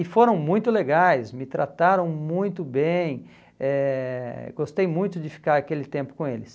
E foram muito legais, me trataram muito bem, eh gostei muito de ficar aquele tempo com eles.